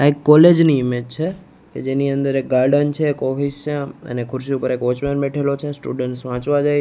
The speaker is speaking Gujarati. આ એક કોલેજ ની ઈમેજ છે કે જેની અંદર એક ગાર્ડન છે એક ઓફિસ છે અને ખુરશી ઉપર એક વોચમેન બેઠેલો છે સ્ટુડન્ટ વાંચવા જાય--